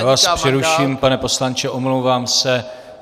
Já vás přeruším, pane poslanče, omlouvám se.